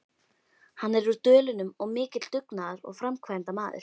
Hann er úr Dölunum og mikill dugnaðar- og framkvæmdamaður.